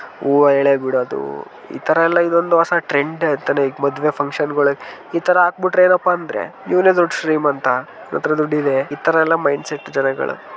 ಹೂವ ಎಳೆ ಬಿಡುವುದು ಈ ತರ ಎಲ್ಲಾ ಈಗ ಒಂದು ಹೊಸ ಟ್ರೆಂಡ್ . ಈಗ ಮದುವೆ ಫಂಕ್ಷನ್ ಗಳಲ್ಲಿ ಇತರ ಹಾಕ್ಬಿಟ್ಟರೆ ಏನಪ್ಪಾ ಅಂದ್ರೆ ಇವನೇ ದೊಡ್ಡ ಶ್ರೀಮಂತ ಇವನತ್ರ ದುಡ್ಡಿದೆ ಇತರ ಎಲ್ಲ ಮೈಂಡ್ ಸೆಟ್ ಜನಗಳು.